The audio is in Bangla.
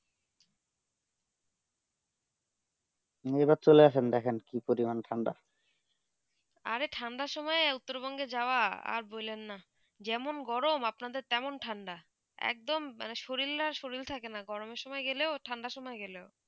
এই বার চলে আসেন দেখেন কি পরিমাণে ঠান্ডা আরে ঠান্ডা সময়ে উত্তর বঙ্গে যাওবা আর বলেন না যেমন গরম আপনার দেড় তেমন ঠান্ডা একদম শরীর আর শরীর থাকে না গরম সময়ে সময়ে গেলো ঠান্ডা সময়ে গেলো